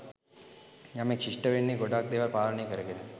යමෙක් ශිෂ්ඨ වෙන්නෙ ගොඩාක් දේවල් පාලනය කරගෙන.